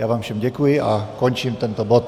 Já vám všem děkuji a končím tento bod.